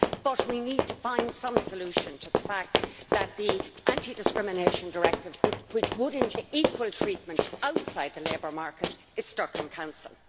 but we need to find some solution to the fact that the anti discrimination directive which would ensure equal treatment outside the labour market is stuck in Council.